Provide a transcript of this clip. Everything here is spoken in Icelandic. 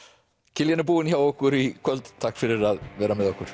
Kiljan er búin hjá okkur í kvöld takk fyrir að vera með okkur